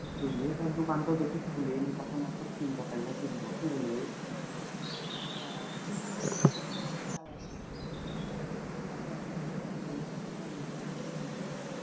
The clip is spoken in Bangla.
বুঝলি তাহলে দোকানটা তখন কিনতে পারলে কিনবো কি বলি হ ঠিকে করেছি লোকে চালাইসনা বুঝলি তো আর দোকান টুকান খুল তখন কিনবি